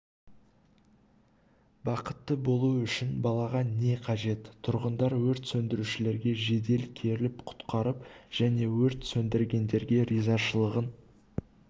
бақытты болу үшін балаға не қажет тұрғындар өрт сөндірушілерге жедел келіп құтқарып және өрт сөндіргендерге ризашылығын